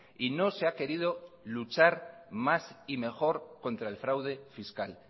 y no se ha querido luchar más y mejor contra el fraude fiscal